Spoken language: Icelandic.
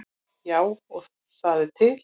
Já, og það er til.